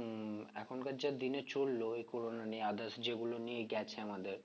উম এখনকার যা দিনে চললো এই corona নিয়ে others যেগুলো নিয়ে গেছে আমাদের